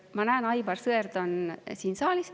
Ma näen, et Aivar Sõerd on siin saalis.